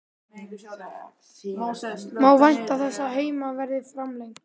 Má vænta þess að þeim verði framlengt?